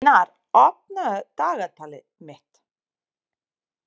Steinar, opnaðu dagatalið mitt.